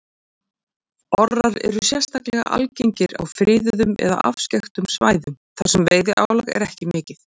Orrar eru sérstaklega algengir á friðuðum eða afskekktum svæðum þar sem veiðiálag er ekki mikið.